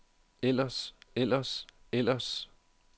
ellers ellers ellers